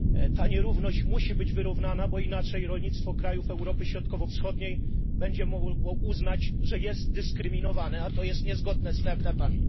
Ta nierówność musi być wyrównana, bo inaczej rolnictwo krajów Europy Środkowo Wschodniej będzie mogło uznać, że jest dyskryminowane, a to jest niezgodne z traktatami